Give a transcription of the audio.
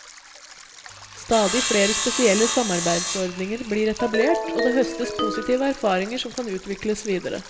Stadig flere spesielle samarbeidsordninger blir etablert, og det høstes positive erfaringer som kan utvikles videre.